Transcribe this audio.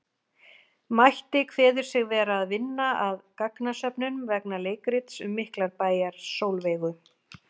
Mætti kveður sig vera að vinna að gagnasöfnun vegna leikrits um Miklabæjar-Sólveigu.